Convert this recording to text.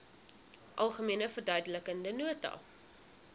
algemene verduidelikende nota